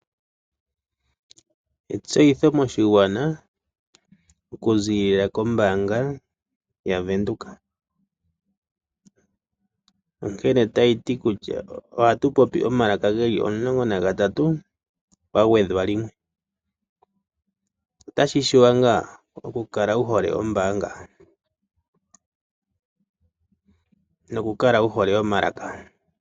Etseyitho moshigwana oku ziilila kombaanga yaVenduka. Onkene otayi ti kutya ohatu popi omalaka geli omulongo nagatatu kwa gwedhwa limwe. Otashi shiwa ngaa oku kala wu hole ombaanga noku kala wu hole omalaka?